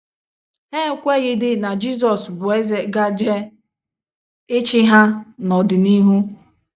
Ha ekweghịdị na Jizọs bụ eze gaje ịchị ha n’ọdịnihu.